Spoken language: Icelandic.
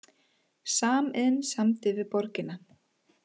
Samiðn samdi við borgina